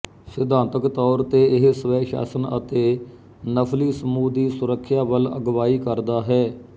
ਸਿਧਾਂਤਕ ਤੌਰ ਤੇ ਇਹ ਸਵੈਸ਼ਾਸਨ ਅਤੇ ਨਸਲੀ ਸਮੂਹ ਦੀ ਸੁਰੱਖਿਆ ਵੱਲ ਅਗਵਾਈ ਕਰਦਾ ਹੈ